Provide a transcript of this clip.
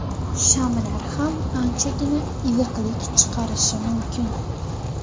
Shamlar ham anchagina iliqlik chiqarishi mumkin.